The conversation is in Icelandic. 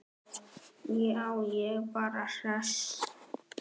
Já, ég er bara hress.